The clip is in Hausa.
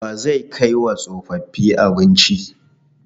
Wa zai kai wa tsofaffi abinci?